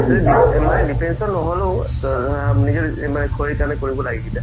মানে defiance ত নহ'লেও